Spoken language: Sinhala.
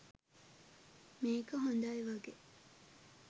මේක හොඳයි වගේ.